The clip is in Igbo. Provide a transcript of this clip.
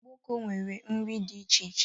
Gboko nwere nri dị iche iche